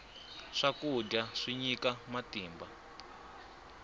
swakudya swi nyika matimba